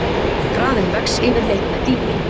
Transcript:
Hraðinn vex yfirleitt með dýpi.